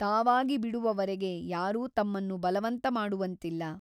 ತಾವಾಗಿ ಬಿಡುವವರೆಗೆ ಯಾರೂ ತಮ್ಮನ್ನು ಬಲವಂತ ಮಾಡುವಂತಿಲ್ಲ.